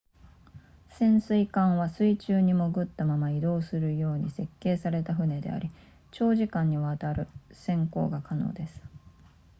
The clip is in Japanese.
潜水艦は水中に潜ったまま移動するように設計された船であり長時間にわたる潜航が可能です